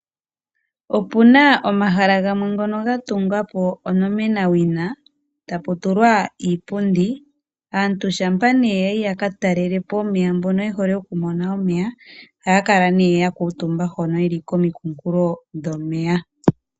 opuna omahala gamwe ngono ga tungwa po onomenawina, e ta pu tulwa iipundi. Aantu shampa nee ya yi ya ka talele po omeya mbono ye hole oku mona omeya ohaya kala nee ya kuutumba hono yeli komikunkulo dhomeya.